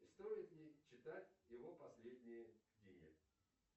стоит ли читать его последние книги